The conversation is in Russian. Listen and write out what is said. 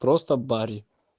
просто бари